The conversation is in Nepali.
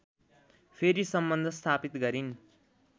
फेरि सम्बन्ध स्थापित गरिन्